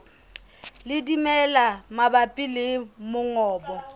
le dimela mabapi le mongobo